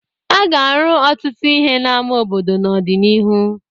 A ga-arụ ọtụtụ ihe n'ama obodo n'ọdịnihu.